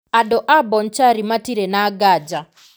Andũ a Bonchari matirĩ na nganja.